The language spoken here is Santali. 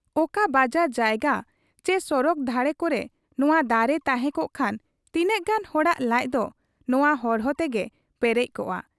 ᱚᱠᱟ ᱵᱟᱡᱟᱨ ᱡᱟᱭᱜᱟ ᱪᱤ ᱥᱚᱲᱚᱠ ᱫᱷᱟᱨᱮ ᱠᱚᱨᱮ ᱱᱚᱶᱟ ᱫᱟᱨᱮ ᱛᱟᱦᱮᱸ ᱠᱚᱜ ᱠᱷᱟᱱ ᱛᱤᱱᱟᱹᱜ ᱜᱟᱱ ᱦᱚᱲᱟᱜ ᱞᱟᱡᱫᱚ ᱱᱚᱶᱟ ᱦᱚᱨᱦᱚ ᱛᱮᱜᱮ ᱯᱮᱨᱮᱡ ᱠᱚᱜ ᱟ ᱾